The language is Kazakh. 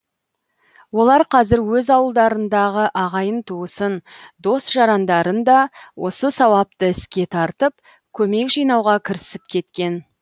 олар қазір өз ауылдарындағы ағайын туысын дос жарандарын да осы сауапты іске тартып көмек жинауға кірісіп кеткен